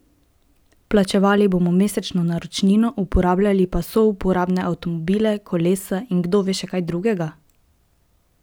Plačevali bomo mesečno naročnino, uporabljali pa souporabne avtomobile, kolesa in kdo ve še kaj drugega?